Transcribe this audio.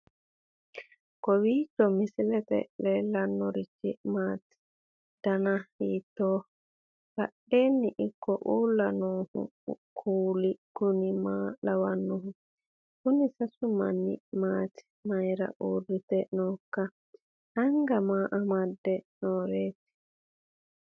kowiicho misilete leellanorichi maati ? dana hiittooho ?abadhhenni ikko uulla noohu kuulu kuni maa lawannoho? kuni sasu manni maati mayira uurrite nooikka anga maa amadde nooreeti